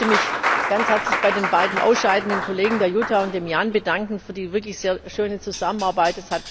Ich möchte mich ganz herzlich bei den beiden ausscheidenden Kollegen, bei Jutta und bei Jan, bedanken für die wirklich sehr schöne Zusammenarbeit.